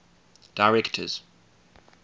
directors